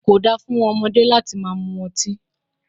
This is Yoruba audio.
Ko dáa fún ọmọdé láti máa mú ọtí.